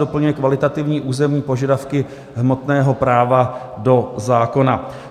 Doplňuje kvalitativní územní požadavky hmotného práva do zákona.